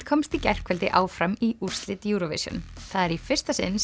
komst í gærkvöldi áfram í úrslit Eurovision það er í fyrsta sinn